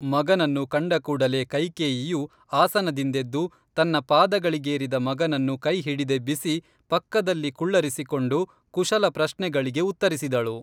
ಮಗನನ್ನು ಕಂಡಕೂಡಲೇ ಕೈಕೇಯಿಯು ಆಸನದಿಂದೆದ್ದು ತನ್ನ ಪಾದಗಳಿಗೇರಿದ ಮಗನನ್ನು ಕೈಹಿಡಿದೆಬ್ಬಿಸಿ ಪಕ್ಕದಲ್ಲಿ ಕುಳ್ಳರಿಸಿಕೊಂಡು ಕುಶಲ ಪ್ರಶ್ನೆಗಳಿಗೆ ಉತ್ತರಿಸಿದಳು